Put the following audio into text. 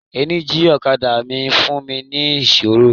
Ẹ́ńjíìnì ọ̀kadà mi ń fún mi ní ìṣòro.